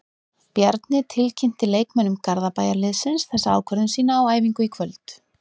Bjarni tilkynnti leikmönnum Garðabæjarliðsins þessa ákvörðun sína á æfingu í kvöld.